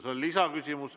See on lisaküsimus.